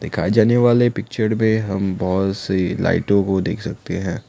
दिखाए जाने वाले पिक्चर में हम बहुत सी लाइटों को देख सकते हैं।